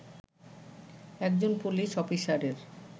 একজন পুলিশ অফিসারের